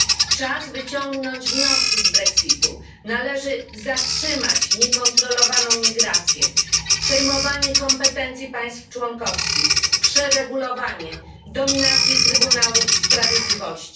Czas wyciągnąć wnioski z brexitu należy zatrzymać niekontrolowaną migrację, przejmowanie kompetencji państw członkowskich, przeregulowanie, dominację Trybunału Sprawiedliwości.